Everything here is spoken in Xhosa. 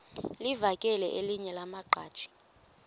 livakele elinye lamaqhaji